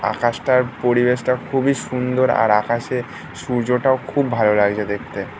আকাশটার পরিবেশ টা খুবই সুন্দর আর আকাশে সূর্য টাও খুব ভালো লাগছে দেখতে